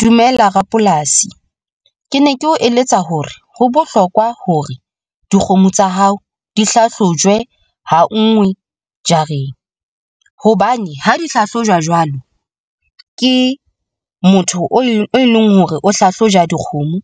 Dumela rapolasi ke ne ke o eletsa hore ho bohlokwa hore dikgomo tsa hao di hlahlojwe hangwe jareng hobane ha di hlahlojwa jwalo ke motho o e leng hore o hlahlojwa dikgomo.